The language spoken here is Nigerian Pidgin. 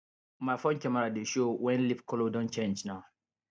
my phone camera dey show when leaf color don change na